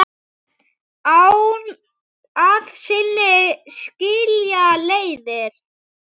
Að sinni skilja leiðir.